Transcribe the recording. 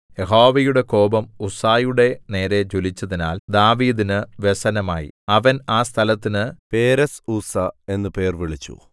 യഹോവയുടെ കോപം ഉസ്സയുടെ നേരെ ജ്വലിച്ചതിനാൽ ദാവീദിന് വ്യസനമായി അവൻ ആ സ്ഥലത്തിന് പേരെസ്ഉസ്സാ എന്നു പേർവിളിച്ചു